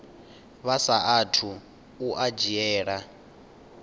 vha saathu u a dzhiela